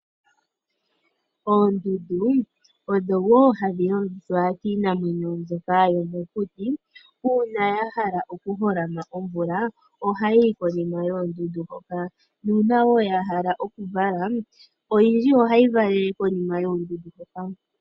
Oondundu, odho wo hadhi longithwa kiinamwenyo mbyoka yomokuti. Uuna yahala okuholama omvula ohayi yi konima yoondundu hoka, nuuna yahala okuvala, oyindji ohayi valele konima yoondundu hoka.